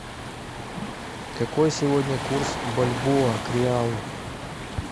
какой сегодня курс бальбоа к реалу